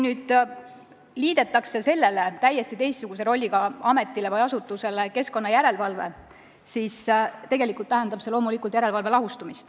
Kui sellele täiesti teistsuguse rolliga ametile või asutusele liidetakse keskkonnajärelevalve, siis tähendab see loomulikult järelevalve lahustumist.